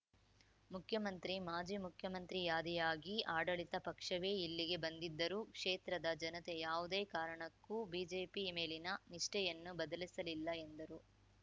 ಮುಖ್ಯಮಂತ್ರಿ ಮಾಜಿ ಮುಖ್ಯಮಂತ್ರಿಯಾದಿಯಾಗಿ ಆಡಳಿತ ಪಕ್ಷವೇ ಇಲ್ಲಿಗೆ ಬಂದಿದ್ದರೂ ಕ್ಷೇತ್ರದ ಜನತೆ ಯಾವುದೇ ಕಾರಣಕ್ಕೂ ಬಿಜೆಪಿ ಮೇಲಿನ ನಿಷ್ಠೆಯನ್ನು ಬದಲಿಸಲಿಲ್ಲ ಎಂದರು